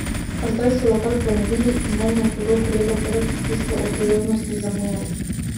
A zdaj so lokal prenovili in meni je hudo kolegu povedati tisto o priložnosti zamujeni.